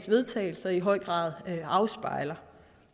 vedtagelse i høj grad afspejler